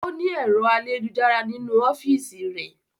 Ọ́ ní ẹ̀rọ ayélujára nínú ọ́fìsì rẹ̀